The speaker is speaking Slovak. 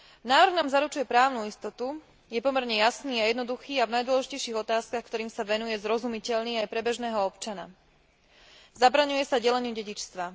Návrh nám zaručuje právnu istotu, je pomerne jasný a jednoduchý a v najdôležitejších otázkach, ktorým sa venuje, zrozumiteľný aj pre bežného občana. Zabraňuje sa deleniu dedičstva.